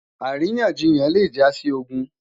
àríyànjiyàn le ja si ogun